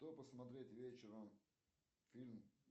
что посмотреть вечером фильм